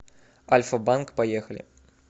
альфа банк поехали